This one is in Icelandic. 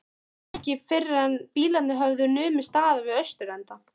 Það var ekki fyrren bílarnir höfðu numið staðar við austurenda